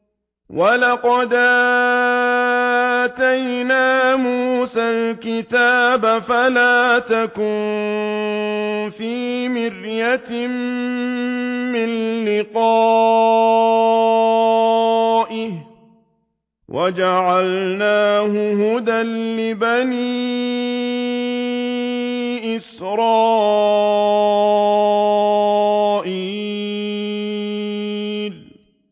وَلَقَدْ آتَيْنَا مُوسَى الْكِتَابَ فَلَا تَكُن فِي مِرْيَةٍ مِّن لِّقَائِهِ ۖ وَجَعَلْنَاهُ هُدًى لِّبَنِي إِسْرَائِيلَ